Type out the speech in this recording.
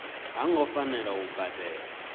ha ngo fanela u badela